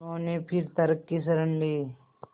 उन्होंने फिर तर्क की शरण ली